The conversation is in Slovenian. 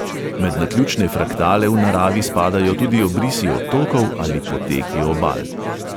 Med naključne fraktale v naravi spadajo tudi obrisi otokov ali poteki obal.